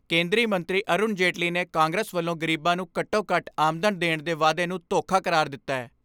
ਕੇਂਦਰੀ ਮੰਤਰੀ ਅਰੁਣ ਜੇਤਲੀ ਨੇ ਕਾਂਗਰਸ ਵੱਲੋਂ ਗਰੀਬਾਂ ਨੂੰ ਘੱਟੋ ਘੱਟ ਆਮਦਨ ਦੇਣ ਦੇ ਵਾਅਦੇ ਨੂੰ ਧੋਖਾ ਕਰਾਰ ਦਿੱਤੈ।